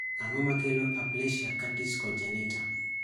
Ang'o makelo Aplasia cutis congenita